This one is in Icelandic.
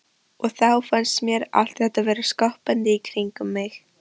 Og þá fannst mér allt vera skoppandi í kringum mig.